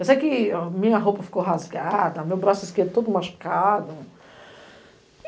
Eu sei que minha roupa ficou rasgada, meu braço esquerdo todo machucado.